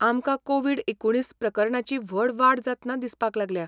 आमकां कोविड एकुणीस प्रकरणांची व्हड वाड जातना दिसपाक लागल्या.